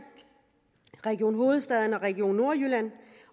region hovedstaden og region nordjylland